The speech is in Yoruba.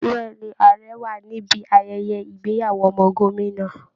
Bẹ́ẹ̀ ni, ààrẹ wà níbi ayẹayẹ ìgbéyàwó ọmọ gómìnà